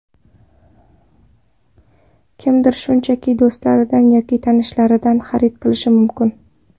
Kimdir shunchaki do‘stlaridan yoki tanishlaridan xarid qilishi mumkin.